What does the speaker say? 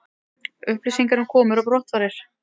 Upplýsingar um komur og brottfarir